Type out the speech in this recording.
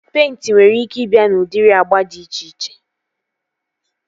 Peịnti nwere ike ị bịa n'udiri agba dị iche iche